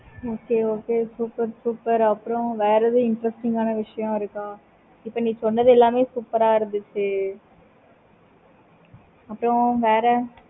okay okay super super அப்பறம் வேற எதுவும் interesting ஆனா விஷயம் இருக்க? இப்ப நீ சொன்னது எல்லாமே super ஆஹ் இருந்துச்சி. அப்பறம் வேற